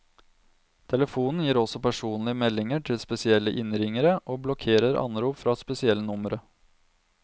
Telefonen gir også personlige meldinger til spesielle innringere, og blokkerer anrop fra spesielle numre.